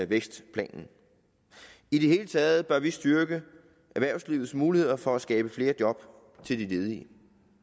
vækstplanen i det hele taget bør vi styrke erhvervslivets muligheder for at skabe flere job til de ledige